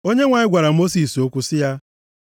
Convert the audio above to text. Onyenwe anyị gwara Mosis okwu sị ya,